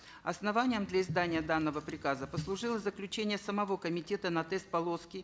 основанием для издания данного приказа послужило заключение самого комитета на тест полоски